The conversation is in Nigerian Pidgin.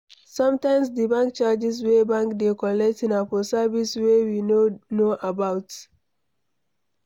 sometimes di bank charges wey bank dey collect na for service wey we no know about